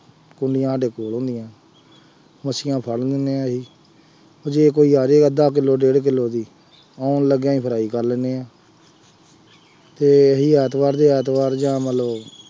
ਕੂੰਡੀਆਂ ਸਾਡੇ ਕੋਲ ਹੁੰਦੀਆਂ ਮੱਛੀਆਂ ਫੜ ਲੈਂਦੇ ਹਾਂ ਅਸੀਂ, ਜੇ ਕੋਈ ਆ ਜਾਏ ਅੱਧਾ ਕਿਲੋ, ਡੇਢ ਕਿਲੋ, ਆਉਣ ਲੱਗਿਆ ਹੀ fry ਕਰ ਲੈਂਦੇ ਹਾਂ, ਅਤੇ ਅਸੀਂ ਐਤਵਾਰ ਦੀ ਐਤਵਾਰ ਜਾਂ ਮੰਨ ਲਉ